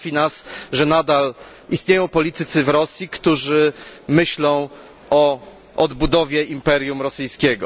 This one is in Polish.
Martwi nas, że nadal istnieją politycy w Rosji, którzy myślą o odbudowie imperium rosyjskiego.